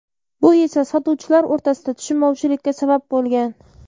Bu esa sotuvchilar o‘rtasida tushunmovchilikka sabab bo‘lgan.